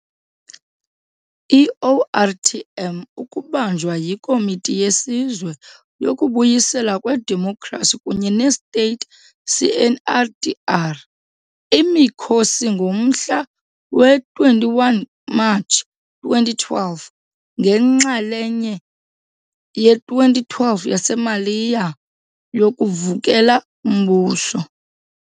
I-ORTM ukubanjwa yiKomiti yeSizwe yokuBuyiselwa kweDemokhrasi kunye ne-State, CNRDR, imikhosi ngomhla we-21 March 2012 njengenxalenye ye-2012 yaseMaliya yokuvukela umbuso.